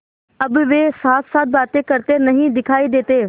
अब वे साथसाथ बातें करते नहीं दिखायी देते